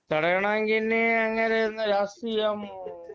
തടയണോങ്കി അങ്ങേര് ഇനി രാഷ്ട്രീയം